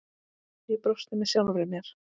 Ég brosti með sjálfri mér.